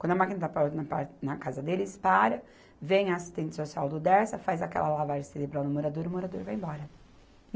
Quando a máquina está parada na ca, na casa deles, para, vem a assistente social do Dersa, faz aquela lavagem cerebral no morador e o morador vai embora.